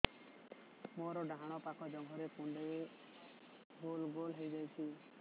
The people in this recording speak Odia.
ମୋର ଡାହାଣ ପାଖ ଜଙ୍ଘରେ କୁଣ୍ଡେଇ ଗୋଲ ଗୋଲ ହେଇଯାଉଛି